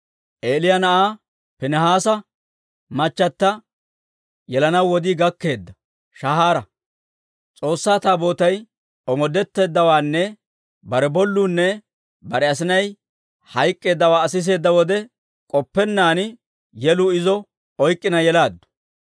Eeliyaa na'aa Piinihaasa machata yelanaw wodii gakkeedda shaahaaraa. S'oossaa Taabootay omoodetteeddawaanne bare bolluunne bare asinay hayk'k'eeddawaa Aa siseedda wode, k'oppennaan yeluu izo oyk'k'ina yelaaddu.